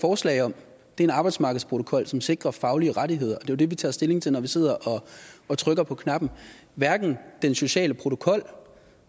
forslag om er en arbejdsmarkedsprotokol som sikrer faglige rettigheder og det det vi tager stilling til når vi sidder og trykker på knappen hverken den sociale protokol